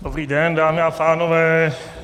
Dobrý den dámy a pánové.